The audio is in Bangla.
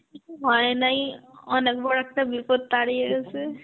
কিছু হয় নাই, অনেক বড় একটা বিপদ তাড়িয়েসে.